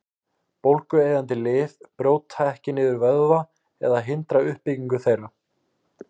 Bólgueyðandi lyf brjóta ekki niður vöðva eða hindra uppbyggingu þeirra.